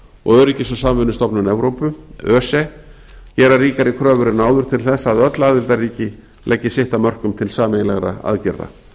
og öryggis og samvinnustofnun evrópu öse gera ríkari kröfur en áður til þess að öll aðildarríki leggi sitt af mörkum til sameiginlegra aðgerða